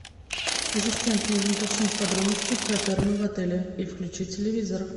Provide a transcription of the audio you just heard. ассистент нужно уточнить подробности про термы в отеле и включи телевизор